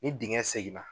Ni dingɛ seginna